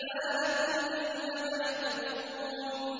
مَا لَكُمْ كَيْفَ تَحْكُمُونَ